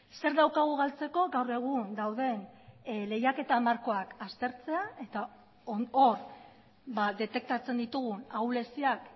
zer daukagu galtzeko gaur egun dauden lehiaketa markoak aztertzea eta hor detektatzen ditugun ahuleziak